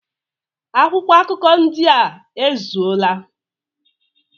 Akwụkwọ akụkọ ndị a ezuola?